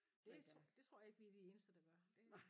Det tro det tror jeg ikke vi de eneste der gør det